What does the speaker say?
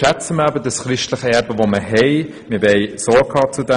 Schätzen wir somit unser christliches Erbe, und tragen wir ihm Sorge!